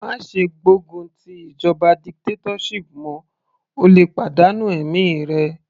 Má ṣe gbógun ti ìjọba dictatorship mọ́, o lè pàdánù ẹ̀mí rẹ.